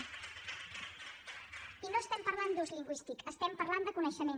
i no estem parlant d’ús lingüístic estem parlant de coneixement